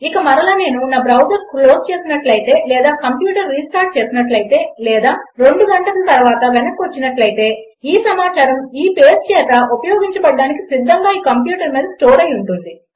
ఇక మరల నేను నా బ్రౌజర్ క్లోజ్ చేసినట్లయితే లేదా కంప్యూటర్ రిస్టార్ట్ చేసినట్లయితే లేదా రెండు గంటల తర్వాత వెనక్కి వచ్చినట్లయితే ఈ సమాచారం ఈ పేజ్ చేత ఉపయోగించడానికి సిధ్ధంగా ఈ కంప్యూటర్ మీద ఇంకా స్టోర్ అయి ఉంటుంది